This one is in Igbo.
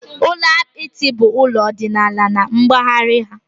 Ụlọ apịtị bụ ụlọ ọdịnala na mpaghara a.